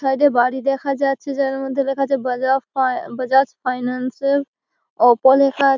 side -এ বাড়ি দেখা যাচ্ছে যার মধ্যে লেখা আছে বজাব ফাই আ বজাজ ফাইনান্স সেল অপ -ও লেখা--